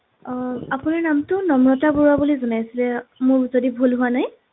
আহ আপোনাৰ নামটো নম্ৰতা বৰুৱা বুলি জনাইছিলে মোৰ যদি ভূল হোৱা নাই